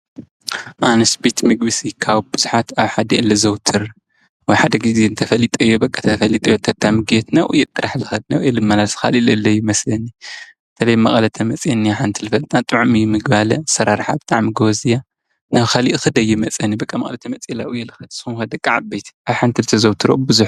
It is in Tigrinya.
ኣንስቢት ምግዊሲ ካው ብዙኃት ኣብሓዲ ኤለ ዘውትር ወሓደ ጊዜ እንተፈሊጠዮ በቐታ ፈሊጠ ዮት ታምግየት ነዉኡ የጥራሕልኸት ነዉ የልመላስ ኻሊለ ለይመስኒ ተለይ መቕለተ መጺአን ሓንቲ ልፈልናጥዕሚ ምግባለ ሠራርሓብጥዓም ጐወዝያ ናዉ ኸሊእ ኽደይ መጸኒ በቀ መቕለተ መጺላኡ የልኽድ ሶምኸ ደቃዓ ቤት ኣብሓንት ልተ ዘውትሮ ኣብዙ?